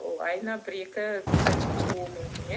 ол айына бір екі пальчик шығуы мүмкін иә